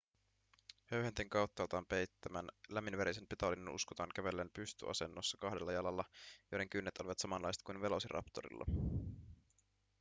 höyhenten kauttaaltaan peittämän lämminverisen petolinnun uskotaan kävelleen pystyasennossa kahdella jalalla joiden kynnet olivat samanlaiset kuin velociraptorilla